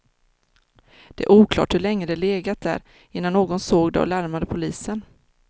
Det är oklart hur länge det legat där, innan någon såg det och larmade polisen.